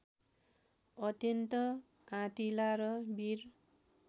अत्यन्त आँटिला र वीर